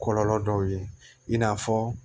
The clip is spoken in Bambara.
Kɔlɔlɔ dɔw ye in n'a fɔ